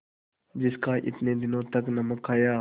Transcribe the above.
जिसका इतने दिनों तक नमक खाया